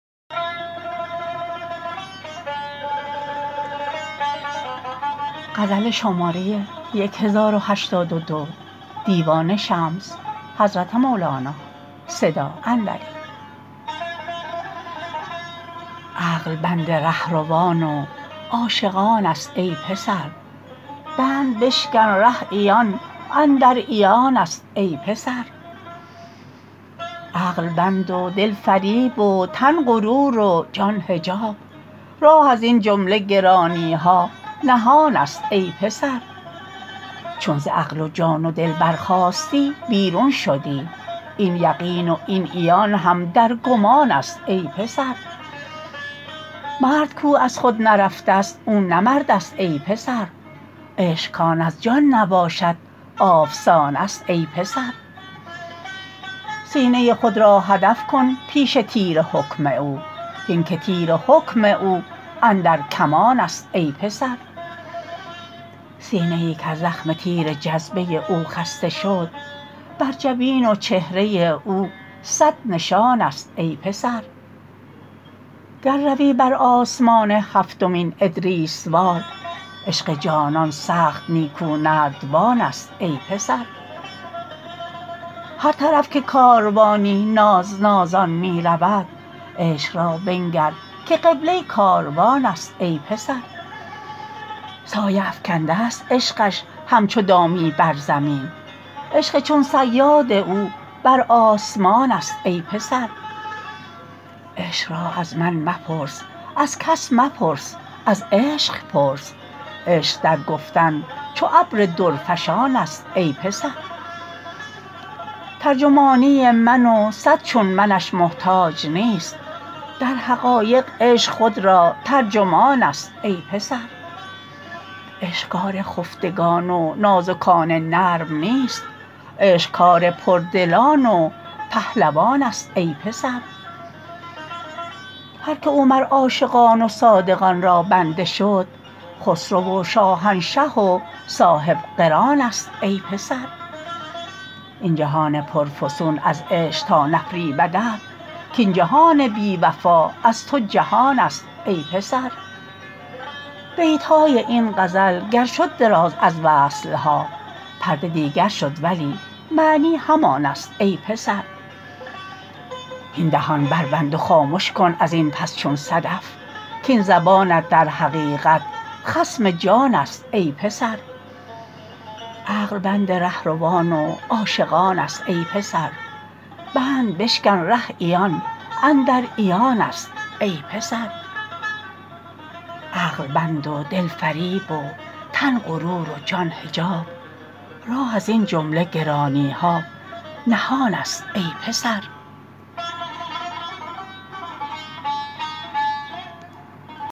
عقل بند ره روان و عاشقان ست ای پسر بند بشکن ره عیان اندر عیان ست ای پسر عقل بند و دل فریب و تن غرور و جان حجاب راه ازین جمله گرانی ها نهان ست ای پسر چون ز عقل و جان و دل برخاستی بیرون شدی این یقین و این عیان هم در گمان ست ای پسر مرد کو از خود نرفتست او نه مردست ای پسر عشق کان از جان نباشد آفسان ست ای پسر سینه خود را هدف کن پیش تیر حکم او هین که تیر حکم او اندر کمان ست ای پسر سینه ای کز زخم تیر جذبه او خسته شد بر جبین و چهره او صد نشان ست ای پسر گر روی بر آسمان هفتمین ادریس وار عشق جانان سخت نیکو نردبان ست ای پسر هر طرف که کاروانی ناز نازان می رود عشق را بنگر که قبله کاروان ست ای پسر سایه افکندست عشقش همچو دامی بر زمین عشق چون صیاد او بر آسمان ست ای پسر عشق را از من مپرس از کس مپرس از عشق پرس عشق در گفتن چو ابر درفشان ست ای پسر ترجمانی من و صد چون منش محتاج نیست در حقایق عشق خود را ترجمان ست ای پسر عشق کار خفتگان و نازکان نرم نیست عشق کار پردلان و پهلوان ست ای پسر هر کی او مر عاشقان و صادقان را بنده شد خسرو و شاهنشه و صاحب قران ست ای پسر این جهان پرفسون از عشق تا نفریبدت کین جهان بی وفا از تو جهان ست ای پسر بیت های این غزل گر شد دراز از وصل ها پرده دیگر شد ولی معنی همان ست ای پسر هین دهان بربند و خامش کن ازین پس چون صدف کین زبانت در حقیقت خصم جان ست ای پسر